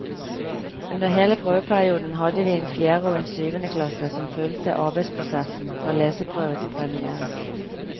Under hele prøveperioden hadde vi en fjerde og en syvende klasse som fulgte arbeidsprosessen fra leseprøve til premiere.